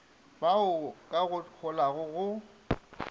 baoba ka go holago go